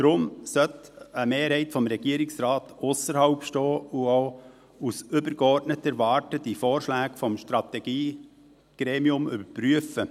Deshalb sollte eine Mehrheit des Regierungsrates ausserhalb stehen und auch aus übergeordneter Warte die Vorschläge des Strategiegremiums überprüfen.